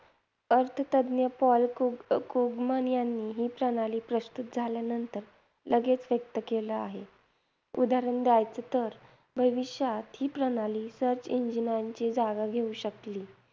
अर्थतज्ज्ञ Paul Krug अं Krugman यांनी ही प्रणाली प्रस्तुत झाल्यानंतर लगेच व्यक्त केले आहे. उदाहरण द्यायचं तर भविष्यात ही प्रणाली search engines ची जागा घेऊ शकली